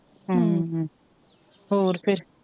ਹਮ, ਹੋਰ ਫੇਰ,